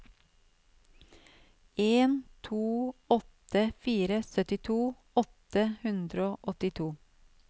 en to åtte fire syttito åtte hundre og åttito